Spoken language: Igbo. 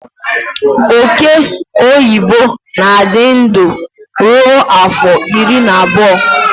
Ọke ọyịbọ na-adị ndụ ruo afọ iri na abụọ